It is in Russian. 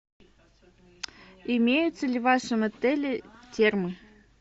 имеются ли в вашем отеле термы